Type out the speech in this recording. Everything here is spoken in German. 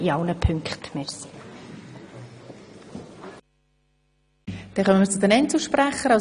Damit kommen wir zu den Einzelsprechern.